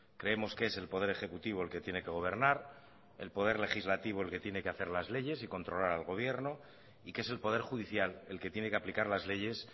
creemos que es el poder ejecutivo el que tiene que gobernar el poder legislativo el que tiene que hacer las leyes y controlar al gobierno y que es el poder judicial el que tiene que aplicar las leyes